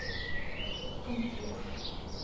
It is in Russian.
тумкур